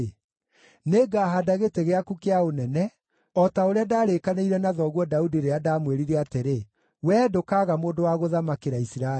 nĩngahaanda gĩtĩ gĩaku kĩa ũnene, o ta ũrĩa ndarĩkanĩire na thoguo Daudi rĩrĩa ndamwĩrire atĩrĩ, ‘Wee ndũkaaga mũndũ wa gũthamakĩra Isiraeli.’